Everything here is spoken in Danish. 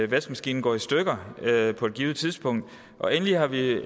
vaskemaskinen går i stykker på et givet tidspunkt og endelig har vi